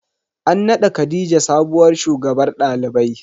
An naɗa khadijah sabuwar shugabar ɗalibai.